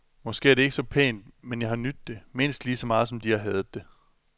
Måske er det ikke så pænt, men jeg har nydt det, mindst ligeså meget som de har hadet det.